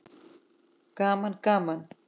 Gaman gaman!